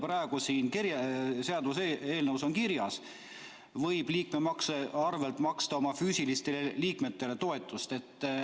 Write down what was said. Praegu on seaduseelnõus kirjas, et võib liikmemaksu arvel maksta oma füüsilistele liikmetele toetust.